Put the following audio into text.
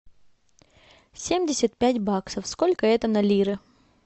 семьдесят пять баксов сколько это на лиры